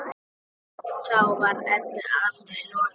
Þá var Eddu allri lokið.